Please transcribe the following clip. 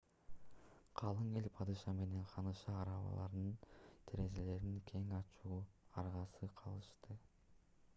калың эл падыша менен ханышаны арабаларынын терезелерин кең ачууга аргасыз кылышты